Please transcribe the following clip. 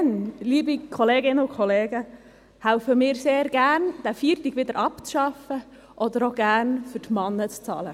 Dann, liebe Kolleginnen und Kollegen, helfen wir sehr gerne, diesen Feiertag wieder abzuschaffen, oder auch gerne, für die Männer zu zahlen.